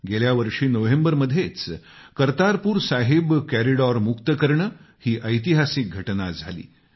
गेल्यावर्षी नोव्हेंबरमध्येच करतारपूर साहिब कॉरिडॉर मुक्त करणं ही ऐतिहासिक घटना झाली